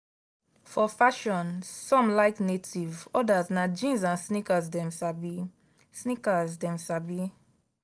for fashion some like native others na jeans and sneakers dem sabi. sneakers dem sabi.